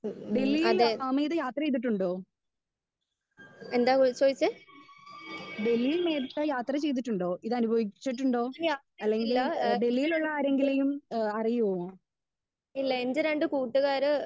Speaker 1 ഹ്മ് അതെ എന്താ ചൊയ്ച്ചേ? ഏഹ് അത്രക്ക് ഇല്ല ഏഹ് ഇല്ല എന്റെ രണ്ട് കൂട്ടുകാര്